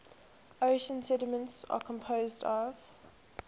ocean sediments are composed of